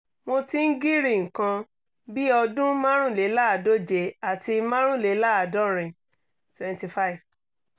mo ti ń girí nǹkan bí ọdún márùnléláàádóje àti márùnléláàádọ́rin twenty five